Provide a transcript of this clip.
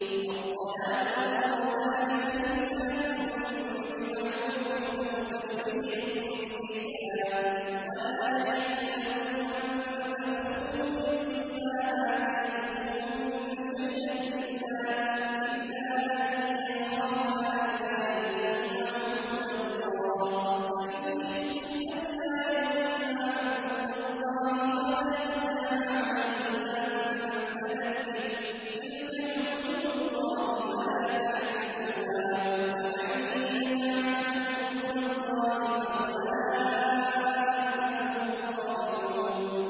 الطَّلَاقُ مَرَّتَانِ ۖ فَإِمْسَاكٌ بِمَعْرُوفٍ أَوْ تَسْرِيحٌ بِإِحْسَانٍ ۗ وَلَا يَحِلُّ لَكُمْ أَن تَأْخُذُوا مِمَّا آتَيْتُمُوهُنَّ شَيْئًا إِلَّا أَن يَخَافَا أَلَّا يُقِيمَا حُدُودَ اللَّهِ ۖ فَإِنْ خِفْتُمْ أَلَّا يُقِيمَا حُدُودَ اللَّهِ فَلَا جُنَاحَ عَلَيْهِمَا فِيمَا افْتَدَتْ بِهِ ۗ تِلْكَ حُدُودُ اللَّهِ فَلَا تَعْتَدُوهَا ۚ وَمَن يَتَعَدَّ حُدُودَ اللَّهِ فَأُولَٰئِكَ هُمُ الظَّالِمُونَ